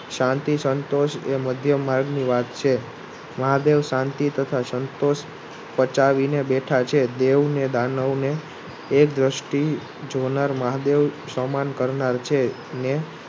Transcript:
શાંતિ સંતોષ એ માધ્ય માર્ગની વાત છે મહાદેવ શાંતિ તથા સંતોષ પચાવીને બેઠા છે. દેવ ને દાનવને એક દ્રષ્ટિ જોનાર મહાદેવ સમાન કરનાર છે ને